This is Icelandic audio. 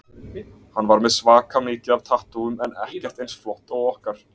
Hann var með svaka mikið af tattúum en ekkert eins flott og okkar.